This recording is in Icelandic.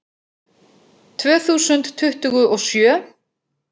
Tvö þúsund tuttugu og sjö